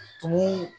Tumu